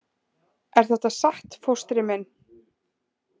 Er þetta satt, fóstri minn?